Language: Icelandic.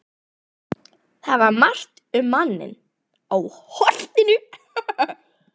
Það var margt um manninn á Holtinu.